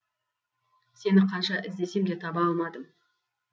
сені қанша іздесем де таба алмадым